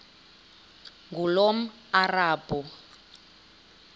ngulomarabu